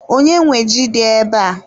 Onye nwe ji dị ebe a?